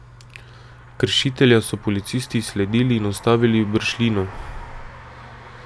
Kršitelja so policisti izsledili in ustavili v Bršljinu.